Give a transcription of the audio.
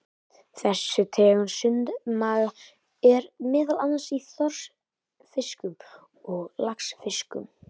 Þessi tegund sundmaga er meðal annars í þorskfiskum og laxfiskum.